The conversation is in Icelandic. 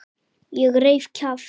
Ég reif kjaft.